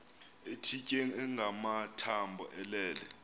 ethitye engamathambo elele